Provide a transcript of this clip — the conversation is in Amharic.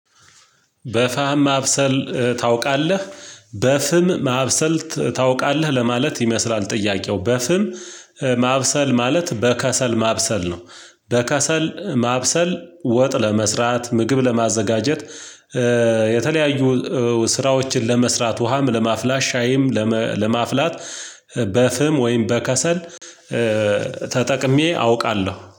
በፋም ማብሰል ታውቃለህ? በፍም ማብሰል ታውቃለህ ለማለት ይመስላል ጥያቄው በፍም ማብሰል ማለት በከሰል ማብሰል ነው። በከሰል ማብሰል ወጥ ለመስራት ምግብ ለማዘጋጀት የተለያዩ ስራዎችን ለመስራት ውሃም ለማፍላት ሻይም ለመፍላት በፍም ወይም በከሰል። ተጠቅሜ አውቃለሁ